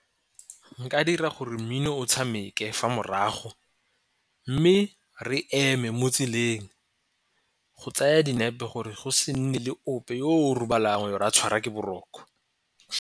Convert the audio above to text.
Nka dira gore mmino o tshameke fa morago, mme re eme mo tseleng go tsaya dinepe gore go se nne le ope yo o robalang ra tshwarwa ke boroko.